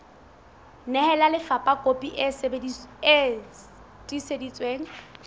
nehela lefapha kopi e tiiseditsweng